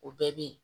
O bɛɛ bɛ yen